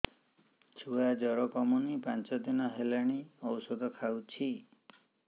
ଛୁଆ ଜର କମୁନି ପାଞ୍ଚ ଦିନ ହେଲାଣି ଔଷଧ ଖାଉଛି